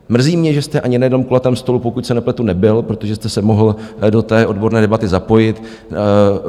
Mrzí mě, že jste ani na jednom kulatém stolu, pokud se nepletu, nebyl, protože jste se mohl do té odborné debaty zapojit.